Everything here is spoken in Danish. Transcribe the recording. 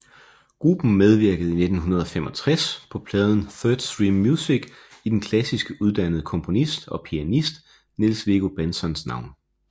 Gruppen medvirkede i 1965 på pladen Third Stream Music i den klassisk uddannede komponist og pianist Niels Viggo Bentzons navn